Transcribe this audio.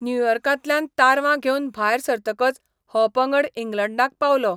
न्युयॉर्कांतल्यान तारवां घेवन भायर सरतकच हो पंगड इंग्लंडाक पावलो.